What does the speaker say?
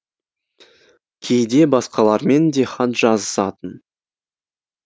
кейде басқалармен де хат жазысатын